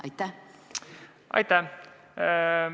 Aitäh!